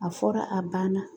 A fɔra ,a banna .